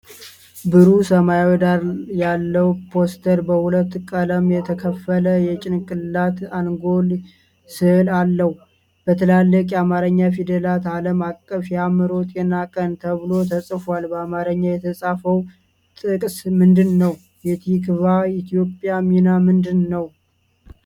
ብሩህ ሰማያዊ ዳራ ያለው ፖስተር በሁለት ቀለም የተከፈለ የጭንቅላት አንጎል ሥዕል አለው። በትላልቅ የአማርኛ ፊደላት “ዓለም አቀፍ የአእምሮ ጤና ቀን” ተብሎ ተጽፏል። በአማርኛ የተጻፈው ጥቅስ ምንድን ነው? የቲክቫህ ኢትዮጵያ ሚና ምንድን ነው?